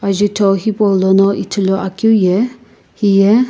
ajutho hipaulono ithuluakeu ye hiye.